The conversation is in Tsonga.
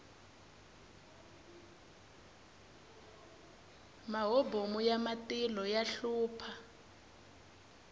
mahobomu ya matilo ya hlupha